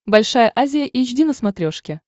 большая азия эйч ди на смотрешке